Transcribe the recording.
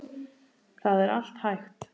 Það er allt hægt.